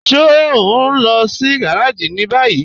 Ṣe o n lọ sí gàràjì ni báyì?